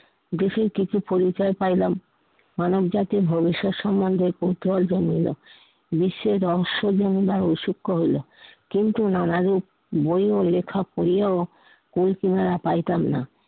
দেখি কি কি পরিচয় পাইলাম, মানব জাতির ভবিষ্যত সমন্ধে কৌতূহল জন্মিলো। বিশ্বে রহস্য জন্মিলো ও শিক্ষ্য হইলো। কিন্তু নানাবিধ বই ও লেখা পড়িয়াও কুল কিনারা পাইতাম না।